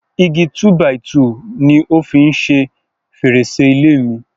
Igi túbàìtuùni ó fi ń o fi ṣe fèrèsé ilé mi.